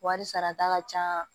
Wari sarata ka ca